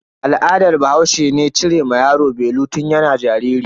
Al'adan bahaushe ne cire wa yaro belu tun yana jariri.